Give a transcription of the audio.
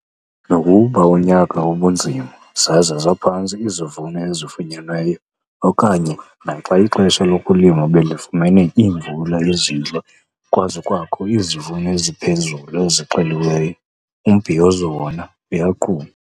Nokuba unyaka ubunzima zaze zaphantsi izivuno ezifunyenweyo okanye naxa ixesha lokulima belifumene iimvula ezintle kwaze kwakho izivuno eziphezulu ezixeliweyo, umbhiyozo wona uyaqhuba.